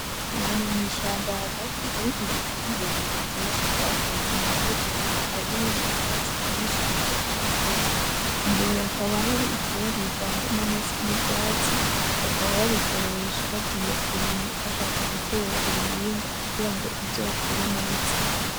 Ahantu mwishamba hagati hari ibiti birebire vyinshi vyakuze inyuma yivyo biti harimwo ivyatsi vyinshi navyo vyakuze imbere hakaba hari ivyozo bivanze N’amase nivyatsi bakaba babikoresha bagiye kurima bashaka gutera ibihingwa kugira ngo bizokure neza.